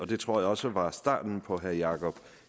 det tror jeg også var starten på herre jakob